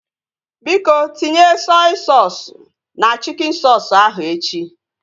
Biko, tinye sọi soosu na chikin soosu ahu echi